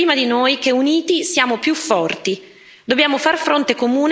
Il presidente Xi ha capito, prima di noi, che uniti siamo più forti.